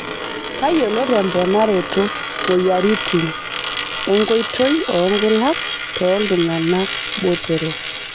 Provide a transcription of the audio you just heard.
Tayiolo temponaroto moyiaritin enkoitoi oonkulak tooltung'ana botorok.